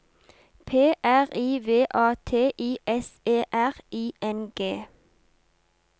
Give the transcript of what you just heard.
P R I V A T I S E R I N G